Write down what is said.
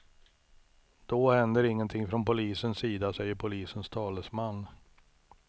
Då händer ingenting från polisens sida, säger polisens talesman.